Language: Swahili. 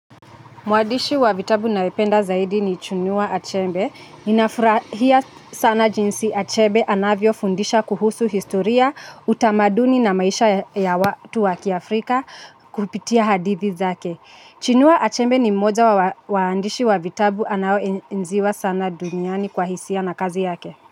Mwadishi wa vitabu na ependa zaidi ni chunuwa achembe. Inafurahia sana jinsi achebe anavyo fundisha kuhusu historia, utamaduni na maisha ya watu waki Afrika kupitia hadithi zake. Chinua achembe ni mmoja wa wadishi wa vitabu anao enziwa sana duniani kwa hisia na kazi yake.